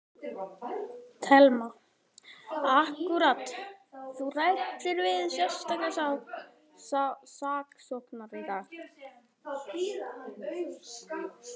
Telma: Akkúrat, þú ræddir við sérstaka saksóknara í dag?